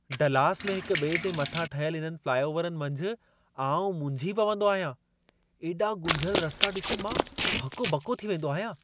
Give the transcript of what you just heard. Dallas में हिक ॿिए जे मथां ठहियल इन्हनि फ़्लाइओवरनि मंझि आउं मुंझी पवंदो आहियां। एॾा गुंझियल रस्ता ॾिसी मां हको ॿको थी वेंदो आहियां।